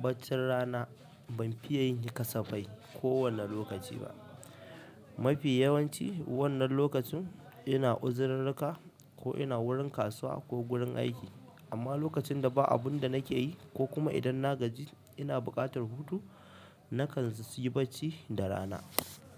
baccin rana, ban fiya yin sa kasafai kowanne lokaci ba. Mafi yawanci wannan lokacin ina uzirirrika, ko ina wurin kasuwa, ko gurin aiki. Amma lokacin da ba abun da nake yi ko kuma idan na gaji ina buƙatar hutu na kan su yi bacci da rana.